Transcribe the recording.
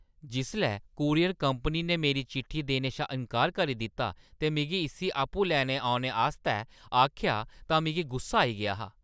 जिसलै courier company ने मेरी चिट्ठी देने शा इन्कार करी दित्ता ते मिगी इस्सी आपूं लैन औने आस्तै आखेआ तां मिगी गुस्सा आई गेआ हा।